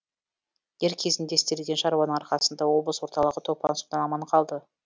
дер кезінде істелген шаруаның арқасында облыс орталығы топан судан аман қалды